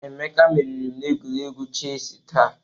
Emeka meriri m n'egwuregwu chesị taa.